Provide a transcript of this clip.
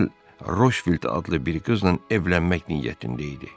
Modamzel Roshvild adlı bir qızla evlənmək niyyətində idi.